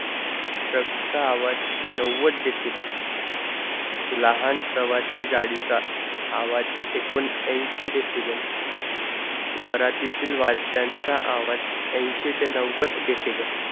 सक्त आवाज़ नव्वद decible लहान प्रवाशी गाडीचा आवाज़ एकोणएंशी disable वरातीतील वाद्यानाचा आवाज़ एंशी ते नव्वद decible